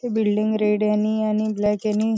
ती building red याने आणि ब्लॅक यानी--